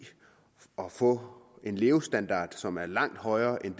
og få en levestandard som er langt højere end